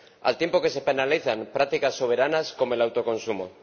al tiempo que se penalizan prácticas soberanas como el autoconsumo.